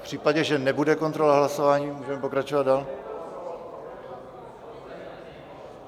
V případě, že nebude kontrola hlasování, můžeme pokračovat dál?